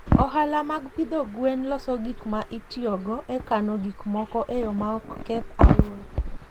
Ohala mag pidho gwen loso gik ma itiyogo e kano gik moko e yo ma ok keth alwora.